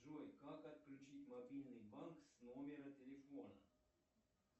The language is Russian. джой как отключить мобильный банк с номера телефона